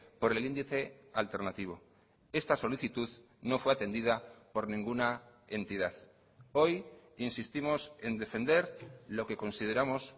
por el índice alternativo esta solicitud no fue atendida por ninguna entidad hoy insistimos en defender lo que consideramos